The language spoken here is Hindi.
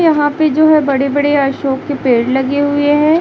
यहाॅं पे जो है बड़े बड़े अशोक के पेड़ लगे हुए हैं।